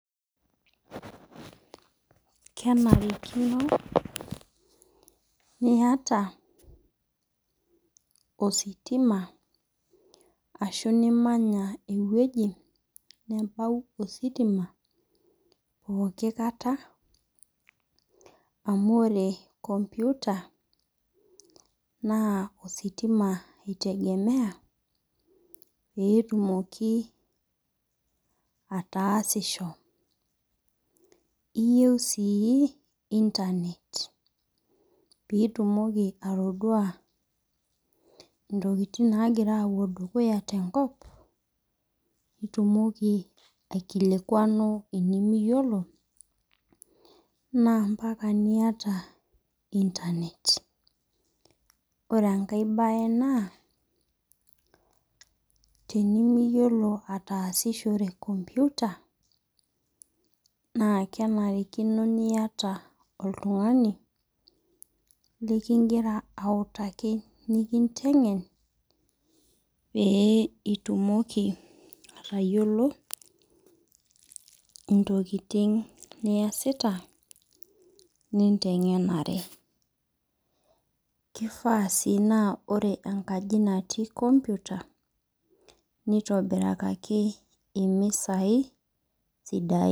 Kenarikino niata ositima ashu, nimanya ewueji nebau ositima pooki kata amu ore computer naa ositima itengemea pee etumoki ataasisho. Iyieu sii internet piitumoki atodua intokitin nagira apuo dukuya te enkop nitumoki aikilikuanu enimiyiolo naa, mpaka niyata internet. Ore enkae baye naa tenimiyilo atasishore computer naa kenarikino niata oltungani likigira autaaki nikitengen pee itumoki atayiolo intokitin niasita nitengenare. Kifaa sii naa, ore enkaji natii computer nitobirakaki emisai sidain.